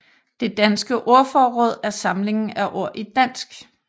Det danske ordforråd er samlingen af ord i dansk